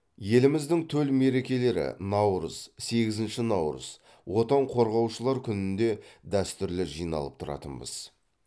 еліміздің төл мерекелері наурыз сегізінші наурыз отан қорғаушылар күнінде дәстүрлі жиналып тұратынбыз